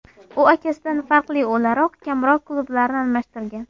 U akasidan farqli o‘laroq kamroq klublarni almashtirgan.